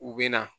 U bɛ na